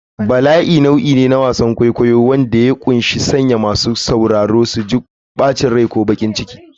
Bala'i nau'i ne na wasan kwaikwayo wanda ya ƙunshi sanya masu sauraro su ji bacin rai ko baƙin ciki.